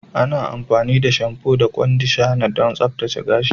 Ana amfani da shamfu da kwandishana don tsaftace gashi.